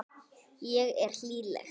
Ég er hlýleg.